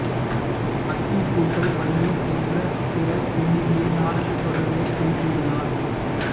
அத்திப்பூக்கள் வள்ளி போன்ற பிற தென்னிந்திய நாடகத் தொடர்களைச் செய்துள்ளார்